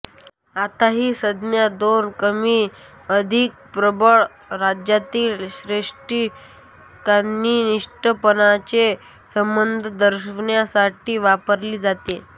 आता ही संज्ञा दोन कमीअधिक प्रबळ राज्यांतील श्रेष्ठकनिष्ठपणाचे संबंध दर्शविण्यासाठी वापरली जाते